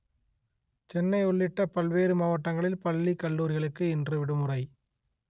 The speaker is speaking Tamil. சென்னை உள்ளிட்ட பல்வேறு மாவட்டங்களில் பள்ளி கல்லூரிகளுக்கு இன்று விடுமுறை